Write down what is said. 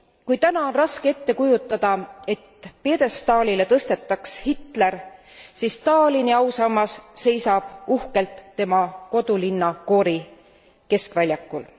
Kui täna on raske ette kujutada, et pjedestaalile tõstetaks Hitler, siis Stalini ausammas seisab uhkelt tema kodulinna Gori keskväljakul.